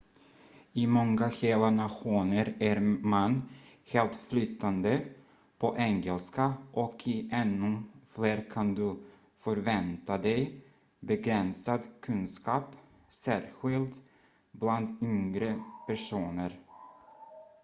i många hela nationer är man helt flytande på engelska och i ännu fler kan du förvänta dig begränsad kunskap särskild bland yngre personer